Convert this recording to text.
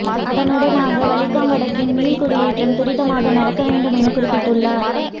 அதனூடாக வலிகாமம் வடக்கின் மீள்குடியேற்றம் துரிதமாக நடக்க வேண்டும் என குறிப்பிட்டுள்ளார்